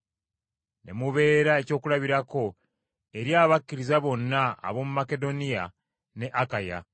ne mubeera ekyokulabirako eri abakkiriza bonna ab’omu Makedoniya ne Akaya.